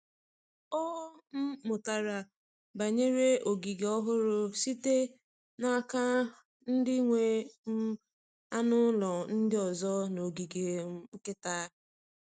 Ọ um mụtara banyere ogige ọhụrụ site n’aka ndị nwe um anụ ụlọ ndị ọzọ n’ogige um nkịta.